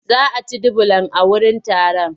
Za a ci dubulan a wurin taron?